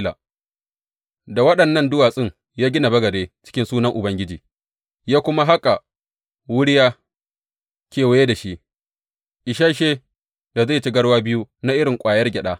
Da waɗannan duwatsun ya gina bagade cikin sunan Ubangiji, ya kuma haƙa wuriya kewaye da shi, isashe da zai ci garwa biyu na irin ƙwayar gyada.